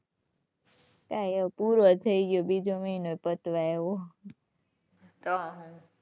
કઈ હવે પૂરો થઈ ગયો બીજો મહિનો પતવા આવ્યો. તો શું.